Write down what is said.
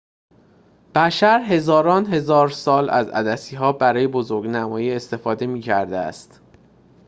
بشر هزاران هزار سال از عدسی‌ها برای بزرگ‌نمایی استفاده می‌کرده است